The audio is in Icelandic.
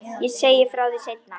Ég segi frá því seinna.